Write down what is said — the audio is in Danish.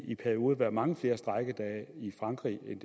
i perioder været mange flere strejkedage i frankrig end